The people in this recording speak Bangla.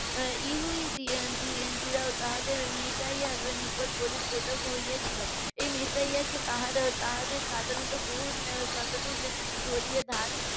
ইহুদি তাদের মেশাইয়ার নিকট বলি প্রদান হইয়াছিল এই মেশাইয়াকে তাহারা তাহাদেরকে সাধারণত .